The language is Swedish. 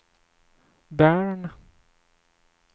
Bern